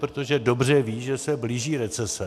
Protože dobře ví, že se blíží recese.